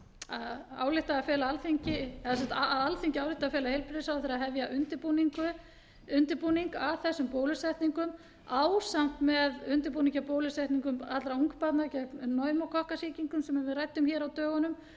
alþingi álykti að fela heilbrigðisráðherra að hefja undirbúning að þessum bólusetningum ásamt með undirbúningi að bólusetningum allra ungbarna gegn pneumókokkasýkingum sem við ræddum hér á dögunum það væri